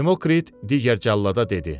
Demokrit digər cəllada dedi: